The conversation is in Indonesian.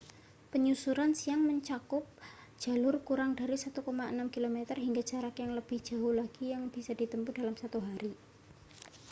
penyusuran siang mencakup jalur kurang dari 1,6 km hingga jarak yang lebih jauh lagi yang bisa ditempuh dalam satu hari